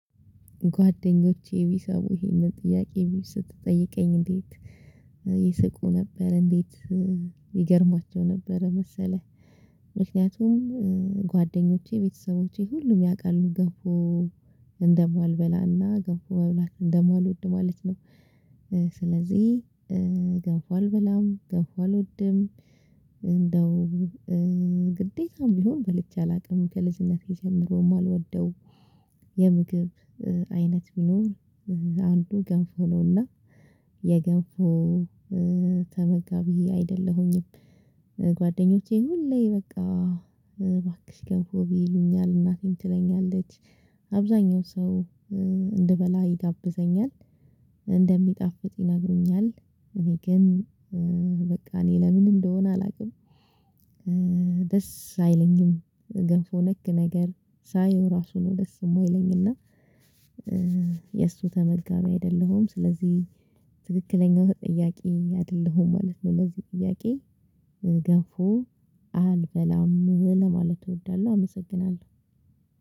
ጓደኞቼ ቢሳቡ ይሄንን ጥያቄ ስትጠይቀኝ እንዴት ይስቁ ነበር እንዴት ይገርማቸው ነበር መሰለህ። ምክንያቱም ጓደኞቼ ቤተሰቦቼ ሁሉም ያውቃሉ ገብቶ እንደማልበላና ገብቶ መብላት እንደማልወድ ማለት ነው። ስለዚህ ገብቶ አልበላም ገብቶ አልወድም። እንደው ግዴታም ቢሆን በልቼ አላውቅም። ከልጅነቴ ጀምሮ የማልወደው የምግብ አይነት ቢኖር አንዱ ገንፎ ነውና የገንፎ ተመጋቢ አይደለሁኝም። ጓደኞቼ ሁሌ በቃ እባክሽ ገንፎ ብይ ይሉኛል እናቴን ትለኛለች። አብዛኛው ሰው እንድበላ ይጋብዘኛል እንደሚጣፍጥ ይነግሩኛል። እኔ ግን በቃ እኔ ለምን እንደሆነ አላውቅም። ደስ አይለኝም ገንፎ ነክ ነገር ሳየው ራሱ ነው ደስ የማይለኝና። የእሱ ተመጋቢ አይደለሁም ስለዚህ ትክክለኛው ጥያቄ አይደለሁም ማለት ነው። ለዚህ ጥያቄ ገፎ አልበላም ለማለት እወዳለሁ አመሰግናለሁ።